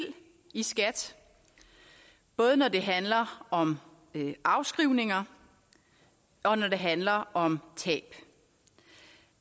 i skat både når det handler om afskrivninger og når det handler om tab